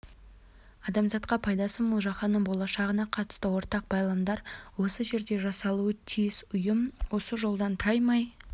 адамзатқа пайдасы мол жаһанның болашағына қатысты ортақ байламдар осы жерде жасалуы тиіс ұйым осы жолдан таймай